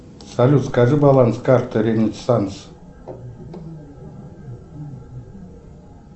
салют скажи баланс карты ренессанс